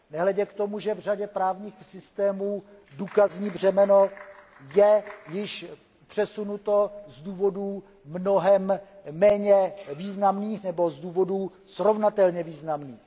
Nehledě k tomu, že v řadě právních systémů důkazní břemeno je již přesunuto z důvodů mnohem méně významných nebo z důvodů srovnatelně významných.